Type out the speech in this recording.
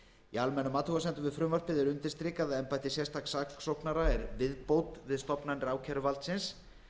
í almennum athugasemdum við frumvarpið er undirstrikað að embætti sérstaks saksóknara er viðbót við stofnanir ákæruvaldsins